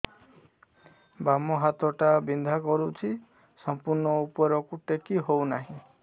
ବାମ ହାତ ଟା ବିନ୍ଧା କରୁଛି ସମ୍ପୂର୍ଣ ଉପରକୁ ଟେକି ହୋଉନାହିଁ